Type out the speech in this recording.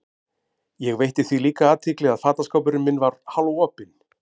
Ég veitti því líka athygli að fataskápurinn minn var hálfopinn.